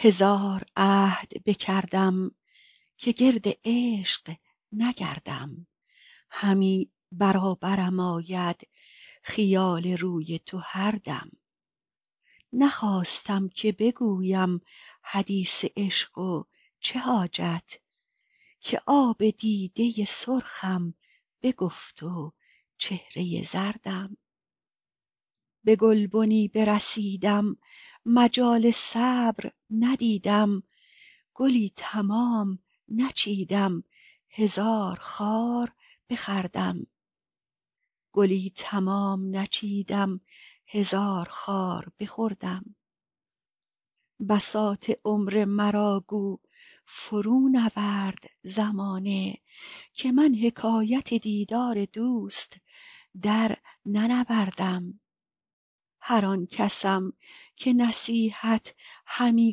هزار عهد بکردم که گرد عشق نگردم همی برابرم آید خیال روی تو هر دم نخواستم که بگویم حدیث عشق و چه حاجت که آب دیده سرخم بگفت و چهره زردم به گلبنی برسیدم مجال صبر ندیدم گلی تمام نچیدم هزار خار بخوردم بساط عمر مرا گو فرونورد زمانه که من حکایت دیدار دوست درننوردم هر آن کسم که نصیحت همی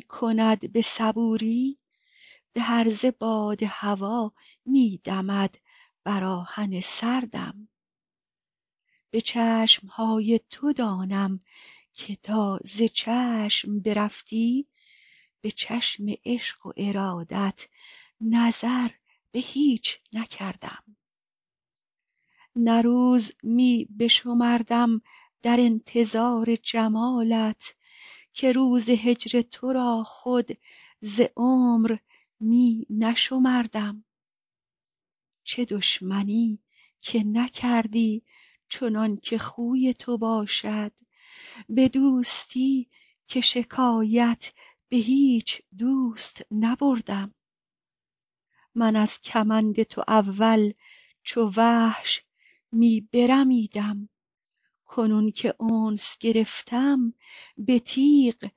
کند به صبوری به هرزه باد هوا می دمد بر آهن سردم به چشم های تو دانم که تا ز چشم برفتی به چشم عشق و ارادت نظر به هیچ نکردم نه روز می بشمردم در انتظار جمالت که روز هجر تو را خود ز عمر می نشمردم چه دشمنی که نکردی چنان که خوی تو باشد به دوستی که شکایت به هیچ دوست نبردم من از کمند تو اول چو وحش می برمیدم کنون که انس گرفتم به تیغ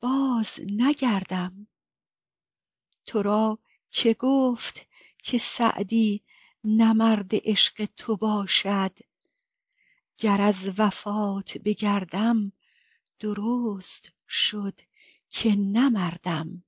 بازنگردم تو را که گفت که سعدی نه مرد عشق تو باشد گر از وفات بگردم درست شد که نه مردم